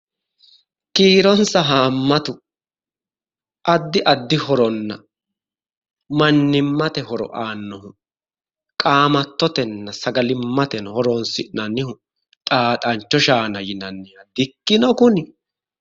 Kiironsa haamatu addi addi horonna mannimmate horo aannoho qaamattotenna sagalimmate horo'nsinanniho xaaxancho shaana yinanniha di"ikkino kuni?